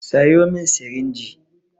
Sayo min sirinji!